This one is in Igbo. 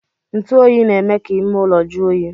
Ntuoyi na-eme ka ime ụlọ jụọ oyi